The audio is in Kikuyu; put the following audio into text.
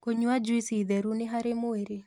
Kũnyua jũĩcĩ therũ nĩ harĩ mwĩrĩ